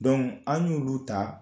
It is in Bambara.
Donk an y'olu ta